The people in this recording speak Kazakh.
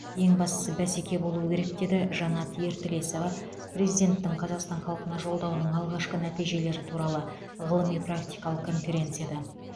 ең бастысы бәсеке болуы керек деді жанат ертілесова президенттің қазақстан халқына жолдауының алғашқы нәтижелері туралы ғылыми практикалық конференцияда